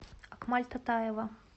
акмаль татаева